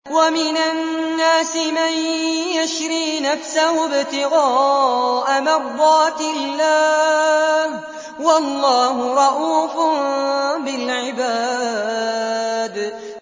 وَمِنَ النَّاسِ مَن يَشْرِي نَفْسَهُ ابْتِغَاءَ مَرْضَاتِ اللَّهِ ۗ وَاللَّهُ رَءُوفٌ بِالْعِبَادِ